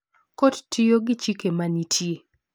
Kot tiyo gi chike ma nitie.